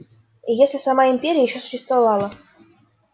и если сама империя ещё существовала